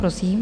Prosím.